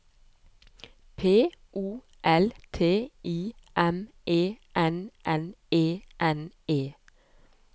P O L I T I M E N N E N E